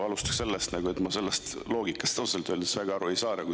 Ma alustan sellest, et ma sellest loogikast ausalt öeldes väga aru ei saa.